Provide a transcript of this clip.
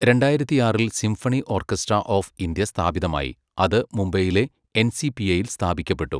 രണ്ടായിരത്തിയാറിൽ symphony orchestra of India സ്ഥാപിതമായി, അത് മുംബൈയിലെ എൻസിപിഎയിൽ സ്ഥാപിക്കപ്പെട്ടു.